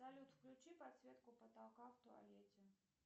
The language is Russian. салют включи подсветку потолка в туалете